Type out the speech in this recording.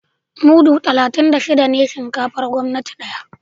Mudu talatin da shida ne buhun shinkafar gwamnati daya